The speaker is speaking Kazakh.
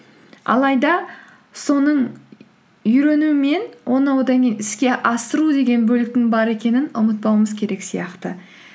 алайда соның үйрену мен оны одан кейін іске асыру деген бөліктің бар екенін ұмытпауымыз керек сияқты